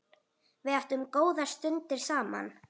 Við áttum góðar stundir saman.